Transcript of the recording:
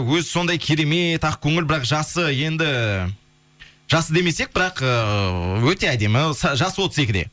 өзі сондай керемет ақкөңіл бірақ жасы енді жасы демесек бірақ ыыы өте әдемі жасы отыз екіде